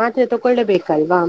ಮಾತ್ರೆ ತಕೊಳ್ಳೆ ಬೇಕಲ್ವಾ?